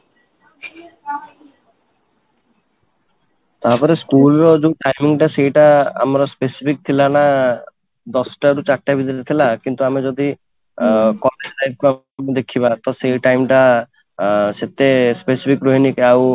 ତାପରେschool ର even time ଟା ସେଇଟା ଆମର specific ଥିଲା ନା ଦଶ ଟା ରୁ ଚାରିଟା ଭିତରେ ଥିଲା କିନ୍ତୁ ଆମେ ଯଦି college time ଟା ଦେଖିବା ତ ସେ time ଟା ଅଂ ସେତେ specific ରୁହେନି ଆଉ